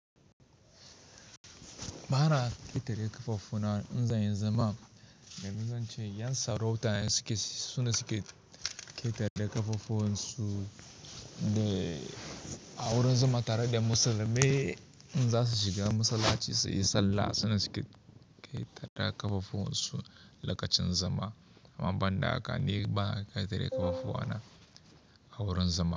Bana ƙetare ƙafafu na in zanyi zama, domin zance ƴan sarauta ne suke ƙetare ƙafafuwan su a wurin zama tare da musulmai in za su shiga masallaci su yi sallah suna suke ƙetare ƙafafuwan su lokacin zama. Amma ban da haka ni bana ƙetare ƙafafu na a wurin zama.